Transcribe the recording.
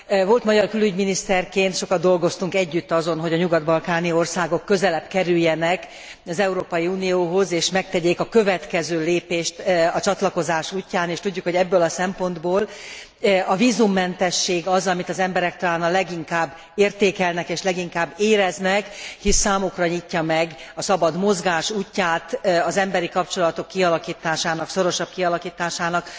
Volt magyar külügyminiszterként sokat dolgoztunk együtt azon, hogy a nyugat balkáni országok közelebb kerüljenek az Európai Unióhoz és megtegyék a következő lépést a csatlakozás útján, és tudjuk, hogy ebből a szempontból a vízummentesség az, amit az emberek talán a leginkább értékelnek és leginkább éreznek, hisz számukra nyitja meg a szabad mozgás útját, az emberi kapcsolatok kialakításának, szorosabb kialakításának